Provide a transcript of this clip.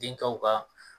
Denkɛw ka